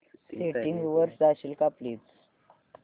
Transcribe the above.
settings वर जाशील का प्लीज